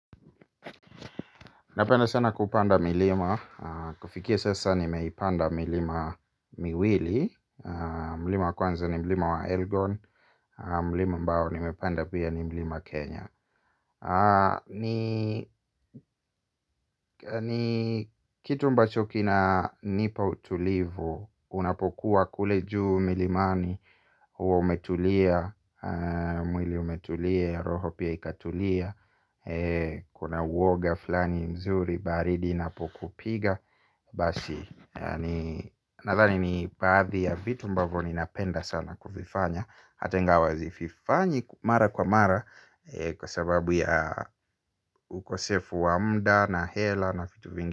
Napenda sana kupanda milima, kufikia sasa nimeipanda milima miwili. Mlima kwanza ni milima wa Elgon, mlima ambao nimepanda pia ni mlima Kenya. Ni kitu ambacho kina nipa utulivu, unapokuwa kule juu milimani huwa umetulia, mwili umetulia, roho pia ikatulia. Kuna uoga flani mzuri baridi inapokupiga. Basi nathani ni baadhi ya vitu ambavyo ninapenda sana kuvifanya hata ingawa sizifanyi mara kwa mara kwa sababu ya ukosefu wa muda na hela na vitu vingi.